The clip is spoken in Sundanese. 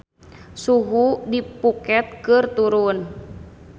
Suhu di Phuket keur turun